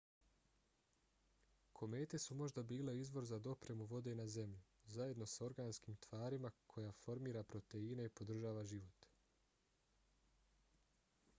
komete su možda bile izvor za dopremu vode na zemlju zajedno s organskom tvari koja formira proteine i podržava život